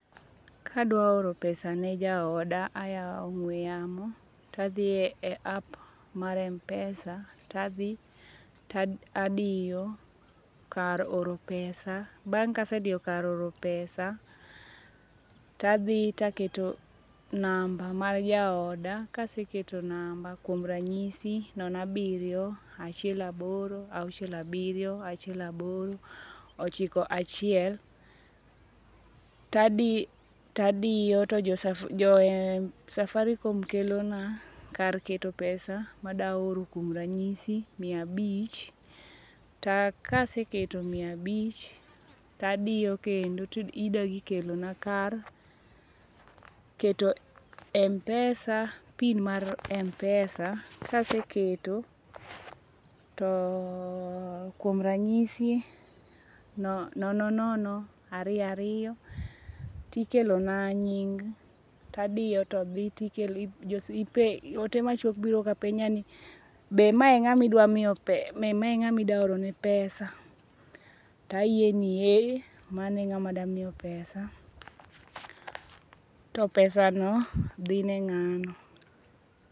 Kadwa oro pesa ne jaoda, ayao ongwe yamo to adhi e app mar Mpesa tadhi tadiyo kar oro pesa, bang kasediyo kar oro pesa bang kasediyo kar oro pesa tadhi tadiyo namba mar jaoda, kaseketo namba kuom ranyisi nono abirio achiel aboro, auchiel abirio, achiel aboro, ochiko achiel, tadi, tadiyo to jo Safaricom ketona kar oro pesa kuom ranyisi mia abich ,to kaseketo mia abich to adiyo kendo tidog iketona kar keto Mpesa, pin mar Mpesa. Kaseketo to kuom ranyisi nono nono ariyo ariyo tikelo na nying, tadiyo todhi to ote machuok biro kapenjani be ma e ngama idwa miyo, idwa orone pesa to ayie ni ee mano e ngama adwa piyo pesa to pesano dhi ne ng'ano.